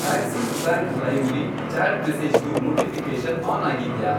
Axis bank ಲೈಮ್ ಲಿ chat ಮೆಸೇಜಸ್ದು ನೋಟಿಫಿ಼ಕೇಷನ್ ಆನ್ ಆಗಿದ್ಯಾ?